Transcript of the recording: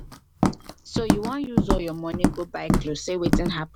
so you wan use all your money go buy cloth say wetin happen?